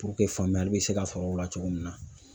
faamuyali bɛ se ka sɔrɔ o la cogo min na.